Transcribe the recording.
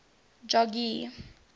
jogee